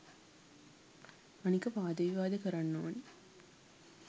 අනික වාද විවාද කරන්න ඕනේ